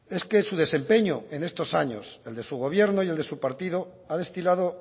es que su desempeño en estos años el de su gobierno y el de su partido ha destilado